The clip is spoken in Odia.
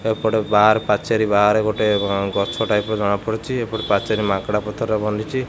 ଏପଟେ ବାର୍ ପାଚେରୀ ବାହାରେ ଗୋଟେ ଗଛ ଟାଇପ୍ ର ଜଣା ପଡୁଛି ଏପଟେ ପାଚେରୀ ମାଙ୍କେଡ଼ା ପଥରରେ ବନିଛି।